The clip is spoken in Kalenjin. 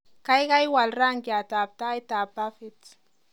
Kaikai wal rangiatab taitab bafit